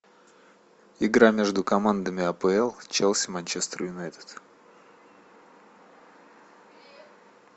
игра между командами апл челси манчестер юнайтед